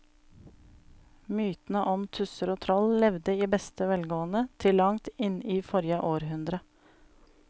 Mytene om tusser og troll levde i beste velgående til langt inn i forrige århundre.